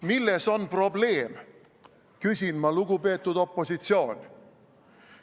Milles on probleem, küsin ma, lugupeetud opositsioon.